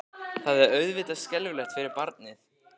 Það er auðvitað skelfilegt fyrir barnið.